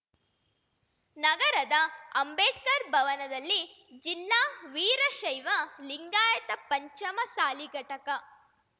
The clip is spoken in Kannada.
ನಗರದ ಅಂಬೇಡ್ಕರ್‌ ಭವನದಲ್ಲಿ ಜಿಲ್ಲಾ ವೀರಶೈವ ಲಿಂಗಾಯತ ಪಂಚಮಸಾಲಿ ಘಟಕ